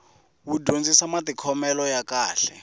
wu dyondzisa matikhomele ya kahle